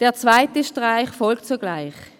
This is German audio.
Der zweite Streich folgt sogleich.